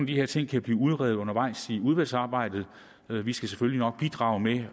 de her ting kan blive udredt undervejs i udvalgsarbejdet vi skal selvfølgelig nok bidrage med